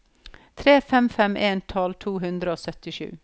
tre fem fem en tolv to hundre og syttisju